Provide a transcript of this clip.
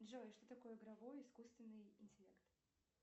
джой что такое игровой искусственный интеллект